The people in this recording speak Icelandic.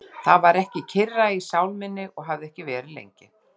Það var ekki kyrra í sál minni og hafði ekki verið lengi.